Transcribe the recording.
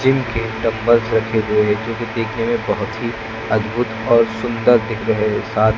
जिनके डम्बल्स रखे हुए हैं जो कि देखने में बहुत ही अद्भुत और सुंदर दिख रहे हैं साथ--